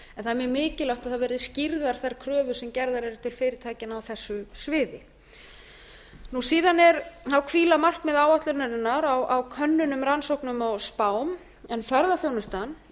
mjög mikilvægt að það verði skýrðar þær kröfur sem gerðar eru til fyrirtækjanna á þessu sviði síðan hvíla markmið áætlunarinnar á könnunum rannsóknum og spám en ferðaþjónustan